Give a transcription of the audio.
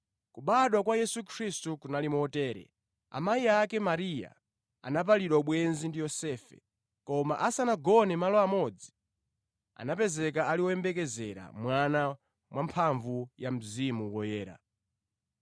Kubadwa kwa Yesu Khristu kunali motere: Amayi ake, Mariya, anapalidwa ubwenzi ndi Yosefe, koma asanagone malo amodzi, anapezeka ali woyembekezera mwana mwa mphamvu ya Mzimu Woyera.